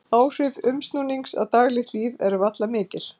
Áhrif umsnúnings á daglegt líf eru varla mikil.